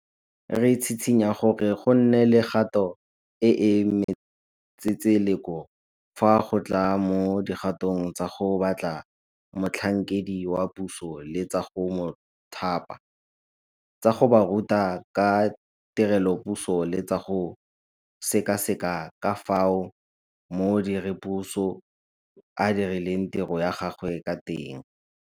Re tshitshinya gore gonne le kgato e e matsetseleko fa go tla mo dikgatong tsa go batla motlhankedi wa puso le tsa go mo thapa, tsa go ba ruta ka tirelopuso le tsa go sekaseka ka fao modiredipuso a dirileng tiro ya gagwe ka teng.